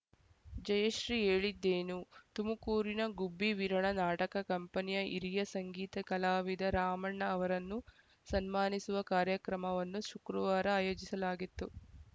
ಜಯಶ್ರೀ ಹೇಳಿದ್ದೇನು ತುಮಕೂರಿನ ಗುಬ್ಬಿ ವೀರಣ್ಣ ನಾಟಕ ಕಂಪನಿಯ ಹಿರಿಯ ಸಂಗೀತ ಕಲಾವಿದ ರಾಮಣ್ಣ ಅವರನ್ನು ಸನ್ಮಾನಿಸುವ ಕಾರ್ಯಕ್ರಮವನ್ನು ಶುಕ್ರವಾರ ಆಯೋಜಿಸಲಾಗಿತ್ತು